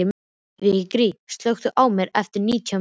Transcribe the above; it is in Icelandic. Vigri, slökktu á þessu eftir nítján mínútur.